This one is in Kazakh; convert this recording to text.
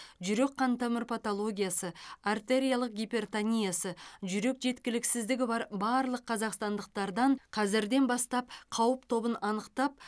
жүрек қантамыр патологиясы артериялық гипертониясы жүрек жеткіліксіздігі бар барлық қазақстандықтардан қазірден бастап қауіп тобын анықтап